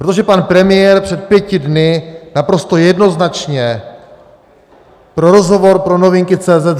Protože pan premiér před pěti dny naprosto jednoznačně pro rozhovor pro Novinky.cz